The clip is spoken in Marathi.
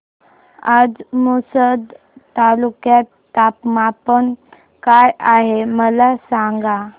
आज पुसद तालुक्यात तापमान काय आहे मला सांगा